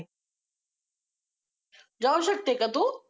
जाऊ शकते का तू?